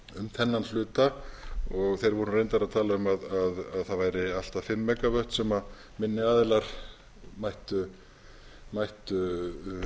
þennan hluta þeir voru reyndar að tala um að það væru allt að fimm mega vöttum sem minni aðilar gæti